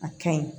A kaɲi